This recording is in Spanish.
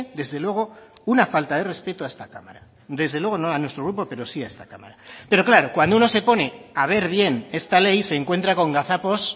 desde luego una falta de respeto a esta cámara desde luego no a nuestro grupo pero sí a esta cámara pero claro cuando uno se pone a ver bien esta ley se encuentra con gazapos